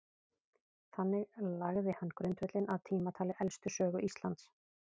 Þannig lagði hann grundvöllinn að tímatali elstu sögu Íslands.